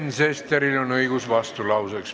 Sven Sesteril on õigus vastulauseks.